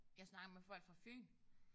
Jeg snakker med folk fra Fyn